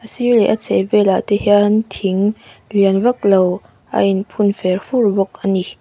a sîr leh a chheh velah te hian thing lian vaklo a in phun fer fur bawk ani.